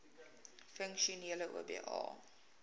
funksionele oba